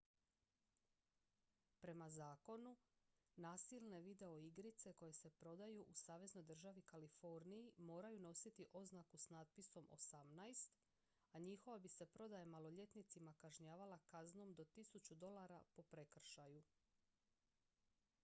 "prema zakonu nasilne videoigrice koje se prodaju u saveznoj državi kaliforniji moraju nositi oznaku s natpisom "18" a njihova bi se prodaja maloljetnicima kažnjavala kaznom do 1000 dolara po prekršaju.